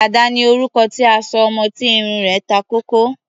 Dàda ni orúkọ tí a sọ ọmọ tí irun rẹ̀ ta kókó.